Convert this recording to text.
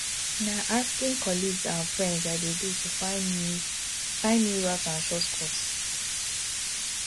na asking colleagues and friends i dey do to find new find new routes and shortcuts